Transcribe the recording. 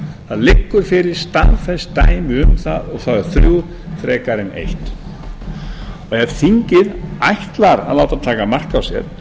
það liggur fyrir staðfest dæmi um það og það þrjú frekar en eitt ef þingið ætlar að láta taka mark á sér